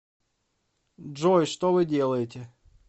джой что вы делаете